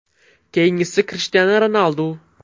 Keyingisi Krishtianu Ronaldu.